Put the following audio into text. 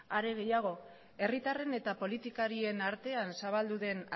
are gehiago herritarren eta politikarien artean zabaldu den